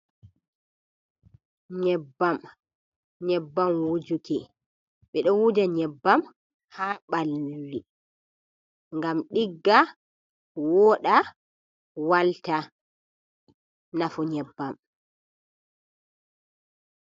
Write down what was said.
Nyebbam, nyebbam wujuki ,ɓe ɗo wuja nyebbam haa ɓalli ngam ɗigga ,wooɗa, walta ,nafu nyebbam.